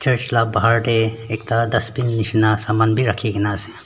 la bahar te ekta dustbin nishina saman bi rakhi kena ase.